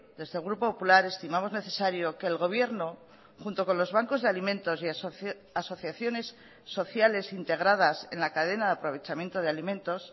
desde el grupo popular estimamos necesario que el gobierno junto con los bancos de alimentos y asociaciones sociales integradas en la cadena de aprovechamiento de alimentos